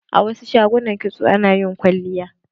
A wasu shagunan kitso ana yin kwalliya.